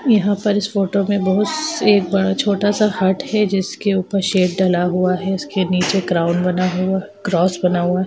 यहा पर इस फोटो में बहुत से छोटा सा हर्ट है जिसके ऊपर शेप डला हुआ है उसके नीचे क्राउन बना हुआ है क्रॉस बना हुआ है।